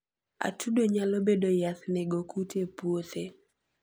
Atudo nyalobedo yath nego kute e puothe .